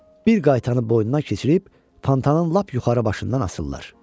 Bir qaytanı boynuna keçirib pantanın lap yuxarı başından asırlar.